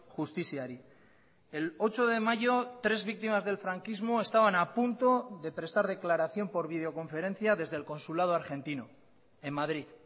justiziari el ocho de mayo tres víctimas del franquismo estaban a punto de prestar declaración por videoconferencia desde el consulado argentino en madrid